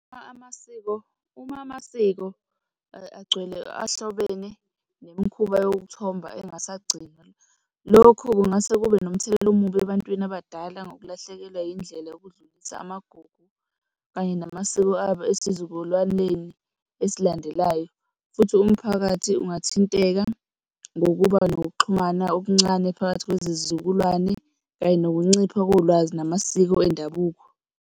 Uma amasiko, uma amasiko agcwele ahlobene nemikhuba yokuthoba engasagcinwa. Lokhu kungase kube nomthelela omubi ebantwini abadala ngokulahlekelwa indlela yokudlulisa amagugu kanye namasiko abo esizukulwaneni esilandelayo, futhi umphakathi ungathinteka ngokuba nokuxhumana okuncane phakathi kwezizukulwane kanye nokuncipha kolwazi namasiko endabuko.